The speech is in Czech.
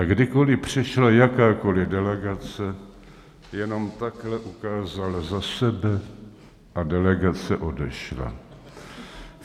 A kdykoli přišla jakákoli delegace, jenom takhle ukázal za sebe a delegace odešla.